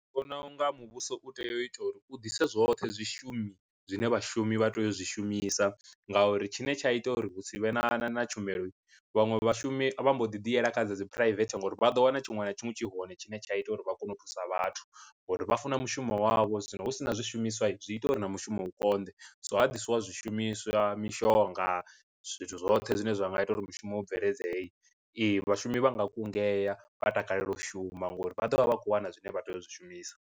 Vhona unga muvhuso u tea u ita uri u ḓise zwoṱhe zwi shumi zwine vhashumi vha tea u zwi shumisa ngauri tshine tsha ita uri hu si vhe na na na tshumelo, vhaṅwe vhashumi vha mbo ḓi ḓi yela kha dzi private ngauri vha ḓo wana tshiṅwe na tshiṅwe tshi hone tshine tsha ita uri vha kone u thusa vhathu, ngori vha funa mushumo wavho zwino hu sina zwishumiswa zwi ita uri na mushumo u konḓe. So ha ḓisiwa zwishumiswa mishonga zwithu zwoṱhe zwine zwa nga ita uri mushumo u bveledzee, ee vhashumi vha nga kungea vha takalela u shuma ngori vha ḓovha vha kho wana zwine vha tea u zwi shumisa.